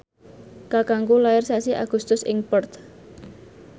kakangku lair sasi Agustus ing Perth